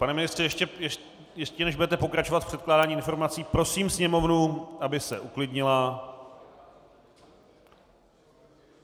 Pane ministře, ještě než budete pokračovat v předkládání informací, prosím sněmovnu, aby se uklidnila.